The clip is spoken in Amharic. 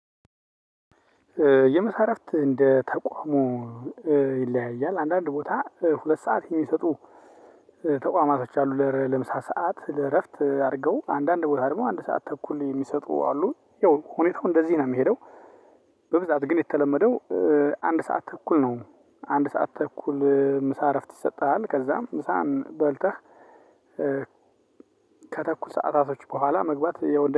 የምሳ እረፍት እንደ ተቋሙ ይለያያል አንዳንድ ቦታ ሁለት ሰዓት የሚሰጡ ተቋማቶች አሉ ለምሳ ሰዓት ለእረፍት አድርገው አንዳንድ ቦታ ደግሞ አንድ ሰዓት ተኩል የሚሰጡ አሉ ያው ሁኔታው እንደዚህ ነው የምሄደው። በብዛት ግን የተለመደው አንድ ሰዓት ተኩል ነው። አንድ ሰዓት ተኩል ምሳ እረፍት ይሰጥሃል ከዛም ምሳን በልተህ ከተኩል ሰዓታቶች በኋላ መግባት